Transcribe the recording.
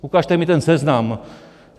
Ukažte mi ten seznam.